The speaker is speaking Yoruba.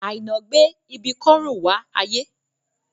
Àìná gbé ibi kọ́rùn wá ayé